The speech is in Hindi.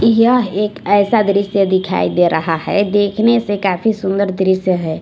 यह एक ऐसा दृश्य दिखाई दे रहा है देखने से काफी सुंदर दृश्य है।